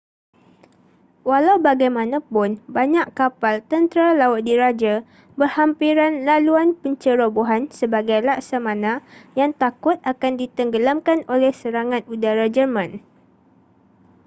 walau bagaimanapun banyak kapal tentera laut diraja berhampiran laluan pencerobohan sebagai laksamana yang takut akan ditenggelamkan oleh serangan udara jerman